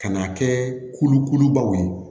Ka n'a kɛ kulukulubaw ye